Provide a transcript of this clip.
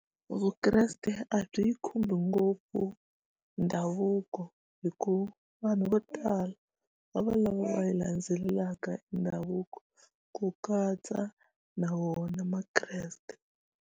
Vukreste a byi khumbi ngopfu ndhavuko hikuva vanhu vo tala va va lava va yi landzelelaka ndhavuko ku katsa na vona makreste.